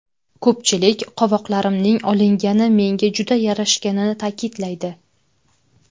Ko‘pchilik qovoqlarimning olingani menga juda yarashganini ta’kidlaydi.